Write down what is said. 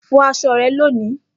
Fọ aṣọ rẹ loni!